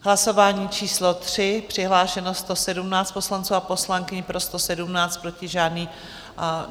Hlasování číslo 3, přihlášeno 117 poslanců a poslankyň, pro 117, proti žádný.